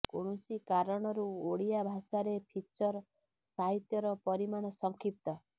କୌଣସି କାରଣରୁ ଓଡ଼ିଆ ଭାଷାରେ ଫିଚର ସାହିତ୍ୟର ପରିମାଣ ସଂକ୍ଷିପ୍ତ